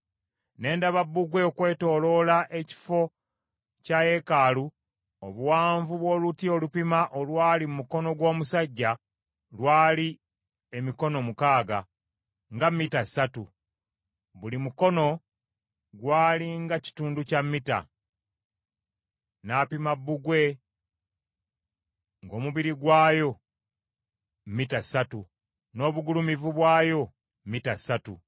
Ne ndaba bbugwe okwetooloola ekifo kya yeekaalu. Obuwanvu bw’oluti olupima olwali mu mukono gw’omusajja lwali emikono mukaaga, nga mita ssatu. Buli mukono gwali nga kitundu kya mita. N’apima bbugwe ng’omubiri gwayo mita ssatu, n’obugulumivu bwayo mita ssatu.